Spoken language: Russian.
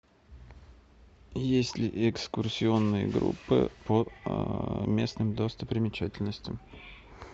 есть ли экскурсионные группы по местным достопримечательностям